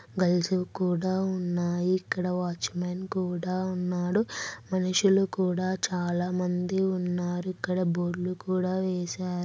Girls(girls) కి కూడా ఉనాయి ఇక్కడ వాచ్ మ్యాన్(watch man) కూడా ఉన్నాడు మనుషులు కూడా చాలా మంది ఉన్నారు ఇక్కడ బోర్డు లు కూడా ఏసరు.